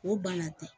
O banna ten